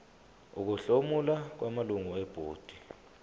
ukuhlomula kwamalungu ebhodi